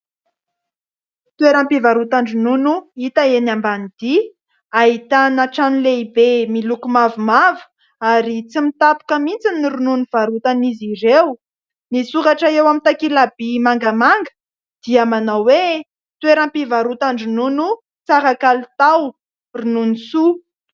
Toeram-pivarotan-dronono hita eny ambanidia ahitana trano lehibe miloko mavomavo ary tsy mitapika mihintsy ny ronono varotan'zy ireo. Ny soratra eo amin'ny takela by mangamanga dia manao hoe: toeram-pivarotan-dronono tsara kalitao, ronono soa.